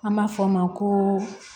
An b'a fɔ o ma ko